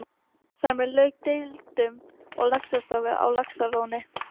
Þar með lauk deilunni um laxastofninn á Laxalóni.